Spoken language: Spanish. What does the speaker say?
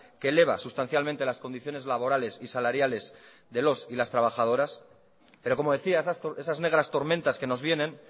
que eleva sustancialmente las condiciones laborales y salariales de los y las trabajadoras pero como decía esas negras tormentas que nos vienen